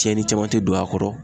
Tiɲɛni caman te don a kɔrɔ